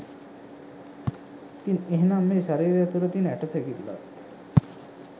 ඉතින් එහෙනම් මේ ශරීරය තුළ තියෙන ඇටසැකිල්ලත්